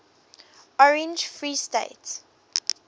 orange free state